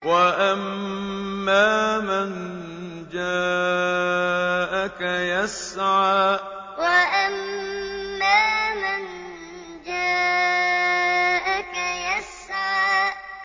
وَأَمَّا مَن جَاءَكَ يَسْعَىٰ وَأَمَّا مَن جَاءَكَ يَسْعَىٰ